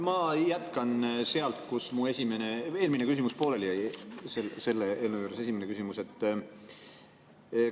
Ma jätkan sealt, kus mu eelmine küsimus, selle eelnõu juures esimene küsimus pooleli jäi.